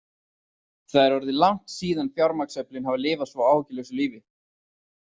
Það er orðið langt síðan fjármagnsöflin hafa lifað svo áhyggjulausu lífi.